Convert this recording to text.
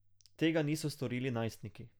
Tega niso storili najstniki.